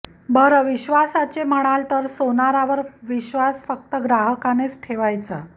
बरं विश्वासाचे म्हणाल तर सोनारावर विश्वास फक्त ग्राहकानेच ठेवायचा